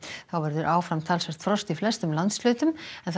þá verður áfram talsvert frost í flestum landshlutum